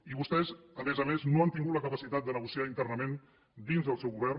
i vostès a més a més no han tingut la capacitat de negociar internament dins del seu govern